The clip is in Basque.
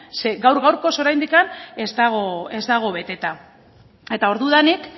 zeren gaur gaurkoz oraindik ez dago beteta eta ordudanik